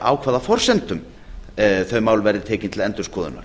á hvaða forsendum þau mál verði tekin til endurskoðunar